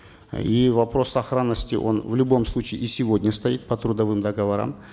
и вопрос сохранности он в любом случае и сегодня стоит по трудовым договорам